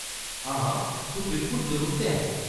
हां, तूं बिल्कुल दरुस्त ऐं।